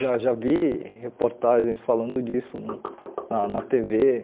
Já já vi reportagens falando disso na na tê vê.